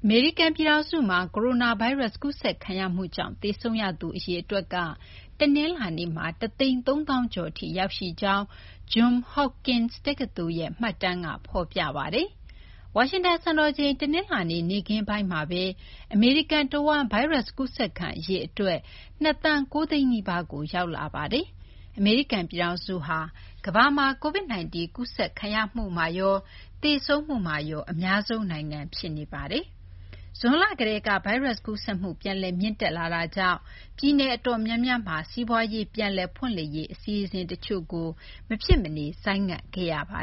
မေရိကန် ပြည်ထောင်စုမှာ ကိုရိုနာဗိုင်းရပ်စ် ကူးစက်ခံရမှုကြောင့် သေဆုံးရသူ အရေအတွက်က တနလာၤနေ့မှာ ၁၃၀,၀၀၀ ကျော် အထိ ရောက်ရှိကြောင်း Johns Hopkins တက္ကသိုလ်ရဲ့ မှတ်တမ်းက ဖော်ပြပါတယ်။ ဝါရှင်တန် စံတော်ချိန် တနလာၤနေ့ နေ့ခင်းပိုင်းမှာဘဲ အမေရိကန် တဝန်း ဗိုင်းရပ်စ် ကူးစက်ခံ အရေအတွက် ၂ သန်း ၉ သိန်းနီးပါးကို ရောက်ရှိနေပါတယ်။ အမေရိကန် ပြည်ထောင်စုဟာ ကမ္ဘာမှာ COVID -19 ကူးစက်ခံရမှုမှာရော သေဆုံးမှုမှာရော အများဆုံး နိုင်ငံ ဖြစ်နေတာပါ။ ဇွန်လ ကတည်းက ဗိုင်းရပ်စ် ကူးစက်မှု ပြန်လည် မြင့်တက်လာတာကြောင့် ပြည်နယ် အတော်များများမှာ စီးပွားရေး ပြန်လည် ဖွင့်လှစ်ရေး အစီအစဉ် တချို့ကို မဖြစ်မနေ ဆိုင်းငံ့ခဲ့ရပါ